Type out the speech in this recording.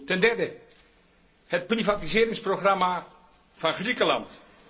Ten derde het privatiseringsprogramma van Griekenland.